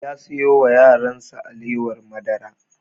Ya siyo wa yaran sa alewar madara